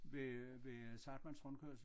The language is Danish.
Ved øh ved øh Zahrtmanns rundkørsel